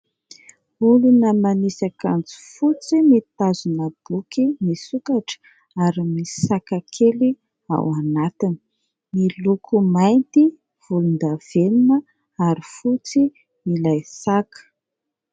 Olona manisy akanjo fotsy mitazona boky misokatra ary misy saka kely ao anatiny. Miloko mainty, volondavenona ary fotsy ilay saka.